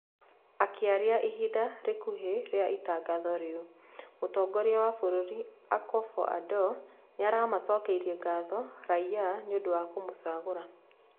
Akĩaria ihinda rĩkuhĩ rĩa itagatho rĩu, Mũtongoria wa burũri Akufo Addo nĩaramacokeirie gatho raiya nĩũndũ wa kũmũcagũra